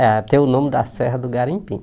É, tem o nome da Serra do Garimpim.